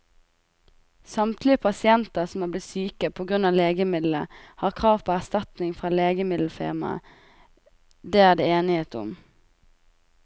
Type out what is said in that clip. Samtlige pasienter som er blitt syke på grunn av legemiddelet, har krav på erstatning fra legemiddelfirmaet, det er det enighet om.